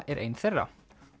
er ein þeirra